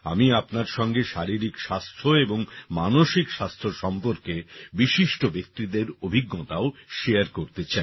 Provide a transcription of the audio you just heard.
আমি আপনার সঙ্গে শারীরিক স্বাস্থ্য এবং মানসিক স্বাস্থ্য সম্পর্কে বিশিষ্ট ব্যক্তিদের অভিজ্ঞতাও শেয়ার করতে চাই